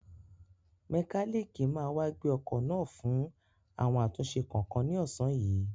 Mẹkálíìkì máa wá gbé ọkọ̀ náà fún àwọn àtúnṣe kọ̀ọ̀kan ní ọ̀sán yìí.